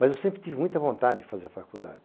Mas eu sempre tive muita vontade de fazer a faculdade.